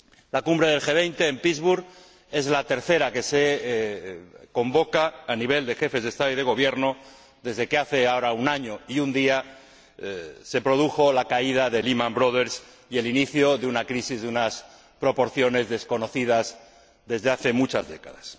La Cumbre del G 20 en Pittsburg es la tercera que se convoca a nivel de Jefes de Estado y de Gobierno desde que hace ahora un año y un día se produjo la caída de Lehman Brothers y el inicio de una crisis de unas proporciones desconocidas desde hace muchas décadas.